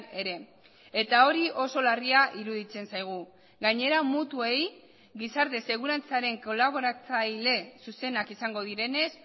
ere eta hori oso larria iruditzen zaigu gainera mutuei gizarte segurantzaren kolaboratzaile zuzenak izango direnez